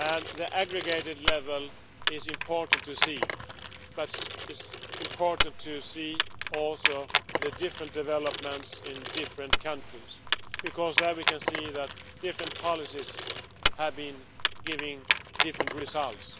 The aggregated level is important to see, but it is important to see also the different developments in different countries, because there we can see that different policies have been giving different results.